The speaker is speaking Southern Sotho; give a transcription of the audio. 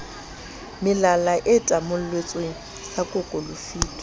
melala e tamolletswe sa kokolofitwe